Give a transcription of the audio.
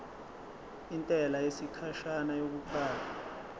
intela yesikhashana yokuqala